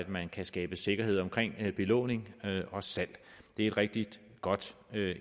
man kan skabe sikkerhed omkring belåning og salg det er et rigtig godt